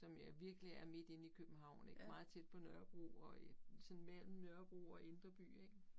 Som jo virkelig er midt inde i København ik meget tæt på Nørrebro og øh sådan mellem Nørrebro og indre by ik